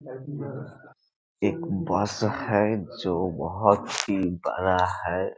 एक बस है जो बहुत ही बड़ा है।